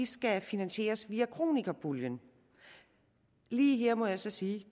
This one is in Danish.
skal finansieres via kronikerpuljen lige her må jeg sige